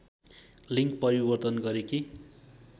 लिड्ग परिवर्तन गरेकी